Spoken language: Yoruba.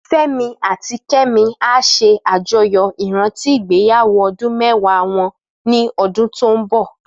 Femi àtí Kemi á ṣé àjóyó iràntí igbéyàwó òdún mèwá wòn ni òdún tó n bò